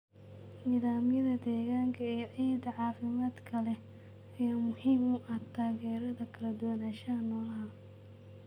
Nidaamyada deegaanka ee ciidda caafimaadka leh ayaa muhiim u ah taageerada kala duwanaanshaha noolaha.